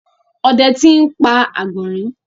ode ti n pa agbọnrin.